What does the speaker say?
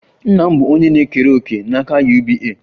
Nna m bụ onye na-ekere òkè na akụ UBA